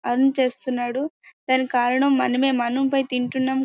Earn చేస్తున్నాడు. దానికి కారణం మనమే మనం పై తింటున్న--